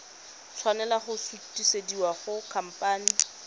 tshwanela go sutisediwa go khamphane